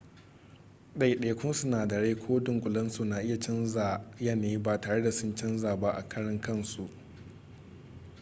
daidaikun sinadarai ko dunkulensu na iya canza yanayi ba tare da sun canza ba a karan kansu